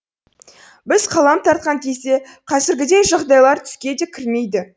біз қалам тартқан кезде қазіргідей жағдайлар түске де кірмейді